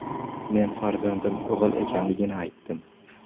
Men farzandim o‘g‘il ekanligini aytdim.